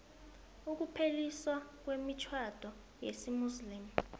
ukupheliswa kwemitjhado yesimuslimu